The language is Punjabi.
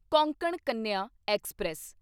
ਕੋਂਕਣ ਕੰਨਿਆ ਐਕਸਪ੍ਰੈਸ